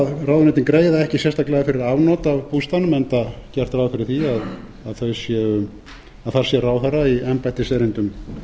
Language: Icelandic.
ráðuneytin greiða ekki sérstaklega fyrir afnot af bústaðnum enda gert ráð fyrir því að þar sé ráðherra í embættiserindum